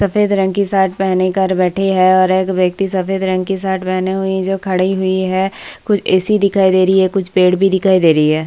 सफेद रंग की शर्ट पहने कर बैठी है और एक व्यक्ति सफेद रंग की शर्ट पहनी हुई जो खड़ी हुई है कुछ ए.सी. दिखाई दे रही है और कुछ पेड़ भी दिखाई दे रही हैं।